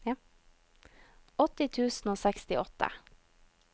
åtti tusen og sekstiåtte